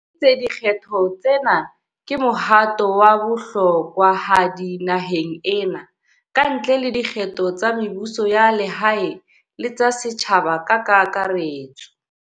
Le itse di kgetho tsena ke mohato wa bohlokwahadi naheng ena, kantle le dikgetho tsa mebuso ya lehae le tsa setjhaba ka kaka retso.